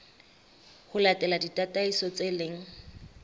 ho latela ditataiso tse leng